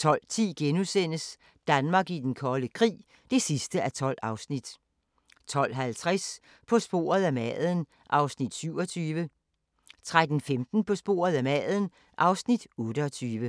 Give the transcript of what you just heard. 12:10: Danmark i den kolde krig (12:12)* 12:50: På sporet af maden (Afs. 27) 13:15: På sporet af maden (Afs. 28)